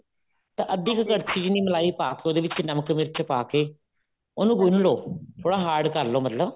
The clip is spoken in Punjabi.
ਤਾਂ ਅੱਧੀ ਕ ਕੜਛੀ ਜਿੰਨੀ ਮਲਾਈ ਪਾ ਕੇ ਉਹਦੇ ਵਿੱਚ ਨਮਕ ਮਿਰਚ ਪਾ ਕੇ ਉਹਨੂੰ ਗੁੰਨ ਲੋ ਥੋੜਾ hard ਕਰਲੋ ਮਤਲਬ